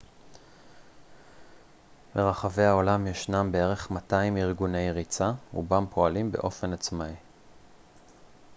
ברחבי העולם ישנם בערך 200 ארגוני ריצה רובם פועלים באופן עצמאי